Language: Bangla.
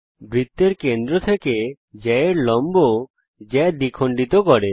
বৃত্তের কেন্দ্র থেকে জ্যায়ের লম্ব জ্যা দ্বিখণ্ডিত করে